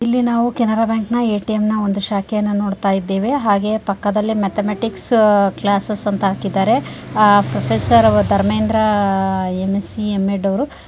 ಇಲ್ಲಿ ನಾವು ಕೆನರಾ ಬ್ಯಾಂಕಿನ ಎ ಟಿ ಎಮ್ ನ ಒಂದು ಶಾಖೆಯನ್ನ ನೋಡತಾಯಿದ್ದೇವೆ ಹಾಗೆಯೆ ಪಕ್ಕದಲ್ಲಿ ಮ್ಯಾಥೆಮ್ಯಾಟಿಕ್ಸ್ ಕ್ಲಾಸ್ಸೆಸ್ಸ್ ಅಂತ ಹಾಕಿದ್ದಾರೆ ಆ professor Dharmendra M S C M Ed ಅವರು